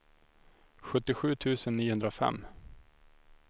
sjuttiosju tusen niohundrafem